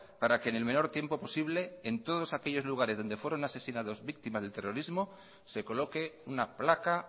para que en el menor tiempo posible en todos aquellos lugares donde fueron asesinados víctimas del terrorismo se coloque una placa